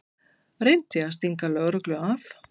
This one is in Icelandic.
Reyndi að stinga lögreglu af